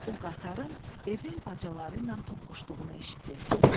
O qatarın evin bacaları ilə toqquşduğunu eşitdi.